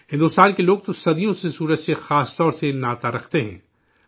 بھارت کے لوگ تو صدیوں سے سورج سے خاص طور پر ناطہ رکھتے ہیں